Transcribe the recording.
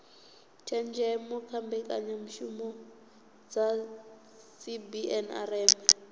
tshenzhemo kha mbekanyamishumo dza cbnrm